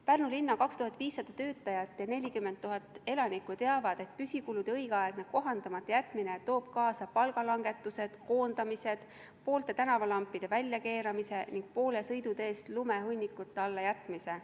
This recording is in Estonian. Pärnu linna 2500 töötajat ja 40 000 elanikku teavad, et püsikulude õigeaegne kohandamata jätmine toob kaasa palgalangetused, koondamised, poolte tänavalampide väljakeeramise ning poole sõiduteest lumehunnikute alla jätmise.